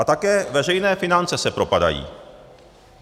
A také veřejné finance se propadají.